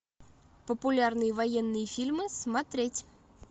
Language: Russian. популярные военные фильмы смотреть